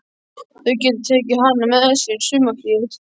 Þau geta tekið hana með sér í sumarfríið.